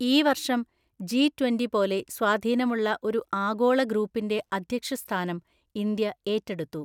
ഈ വര്‍ഷം, G twenty പോലെ സ്വാധീനമുള്ള ഒരു ആഗോള ഗ്രൂപ്പിന്‍റെ അധ്യക്ഷസ്ഥാനം ഇന്ത്യ ഏറ്റെടുത്തു.